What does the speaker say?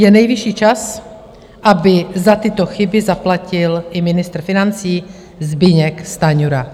Je nejvyšší čas, aby za tyto chyby zaplatil i ministr financí Zbyněk Stanjura.